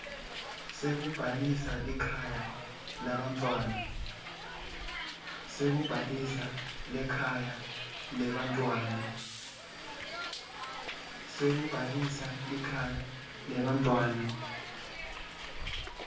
sekubhalisa likhaya lebantfwana